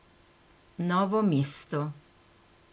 Novo mesto.